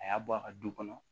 A y'a bɔ a ka du kɔnɔ